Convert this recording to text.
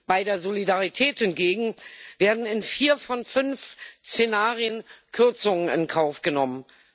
Bei der Solidarität hingegen werden in vier von fünf Szenarien Kürzungen in Kauf genommen.